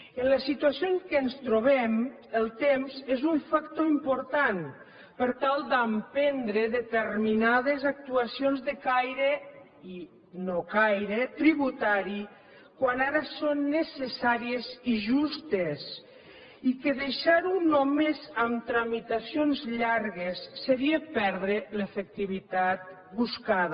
en la situació en què ens trobem el temps és un factor important per tal d’emprendre determinades actuacions de caire i nocaire tributari quan ara són necessàries i justes i deixarho només en tramitacions llargues seria perdre l’efectivitat buscada